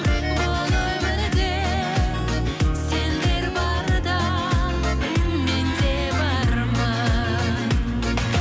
бұл өмірде сендер барда мен де бармын